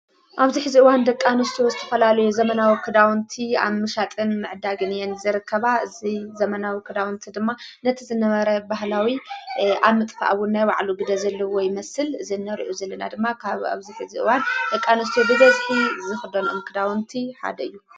ኣብዚ ሕዚእዋን ደቃንስቱ ዝተፈላልዩ ዘመናዊ ክዳውንቲ ኣብ ምሻጥን ዕዳግን እየን ዝርከባ እዝይ ዘመናዊ ክዳውንቲ ድማ ነቲ ዘነመረ ባህላዊ ኣምጥፍኣቡን ናይ ባዕሉ ግደ ዘለዎ ይመስል ዝነርዑ ዝልና ድማ ካብ ኣብዚ ሕዚ እዋን ደቃንስቱ ብገዝ ዝኽዶኑ እምክዳውንቲ ሓደዩ።